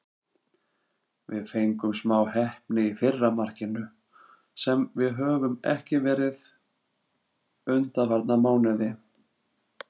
Við fengum smá heppni í fyrra markinu, sem við höfum ekki verið undanfarna mánuði.